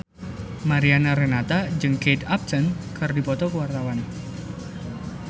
Mariana Renata jeung Kate Upton keur dipoto ku wartawan